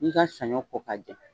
I bi ka saɲɔ ko ka jɛ.